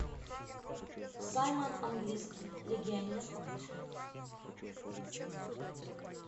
саймон английский легионер покажи